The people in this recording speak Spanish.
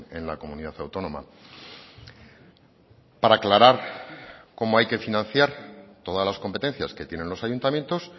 en la comunidad autónoma para aclarar cómo hay que financiar todas las competencias que tienen los ayuntamientos